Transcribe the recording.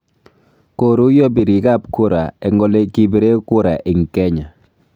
Koruiyo birik ab kura eng ole kibire kura ing Kenya